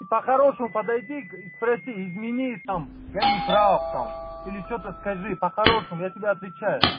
и по-хорошему подойди и к спроси извини там я неправ там или что-то скажи по-хорошему я тебе отвечаю